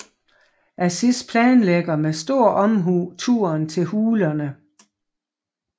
Aziz planlægger med stor omhu turen til hulerne